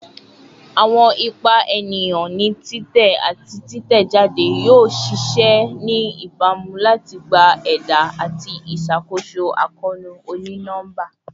Awọn ipa eniyan ni titẹ ati titẹjade yoo ṣee ṣe ni ibamu lati gba ẹda ati iṣakoso akoonu oni-nọmba